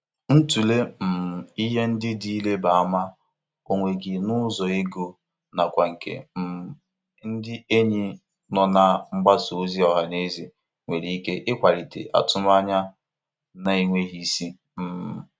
Ịtụle um ihe ndị dị ịrịba ama onwe gị n'ụzọ ego na kwa nke um ndị enyi nọ na mgbasa ozi ọha na eze nwere ike ịkwalite atụmanya na-enweghị isi. um